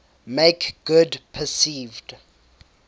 make good perceived